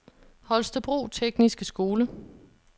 Holstebro Tekniske Skole